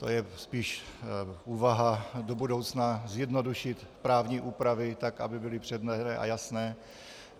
To je spíš úvaha do budoucna, zjednodušit právní úpravy tak, aby byly přehledné a jasné.